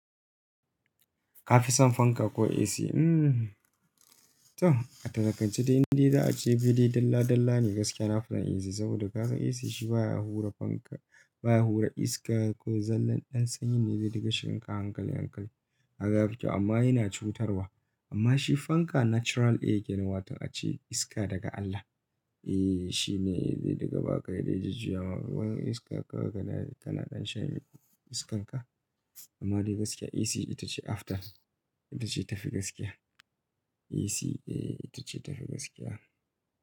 Kafison fanka ko AC? Hmm to a talakance de inda za a ce fili dalla dalla ne gaskiya. Na fi son AC saboda ka san AC shi baya hura fanka, baya hura iska ko zallan ɗan sanyi ne zai rika shiga hankali hankali a gafarki amma yana cutarwa. Ammashi fanka natural air kenan wato ace iska daga Allah. Eh shi ne zai diga baka idan ya jujuya ma domin iska ka gani ai kana ɗan shan iskanka. Amma dai gaskiya AC ita ce after, ita ce tafi gaskiya. AC eh ita ce tafi gaskiya.